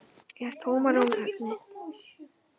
Er tómarúm efni?